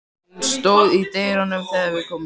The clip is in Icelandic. Hún stóð í dyrunum þegar við komum.